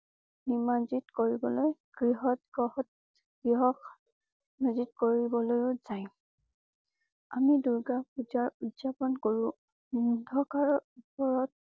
নিমহত কৰিবলৈ গৃহতগ্ৰহতগৃহ কৰিবলৈ ও জাই। আমি দুৰ্গা পূজাৰ উদযাপন কৰোঁ। অন্ধকাৰৰ উপৰত।